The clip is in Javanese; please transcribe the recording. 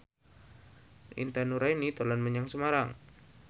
Intan Nuraini dolan menyang Semarang